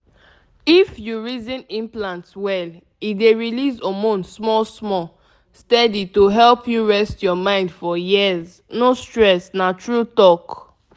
if you reason implant well e dey release hormone small-small steady to help you rest your mind for years — no stress na true talk.